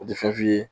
O tɛ fɛn f'i ye